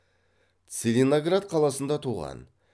целиноград қаласында туған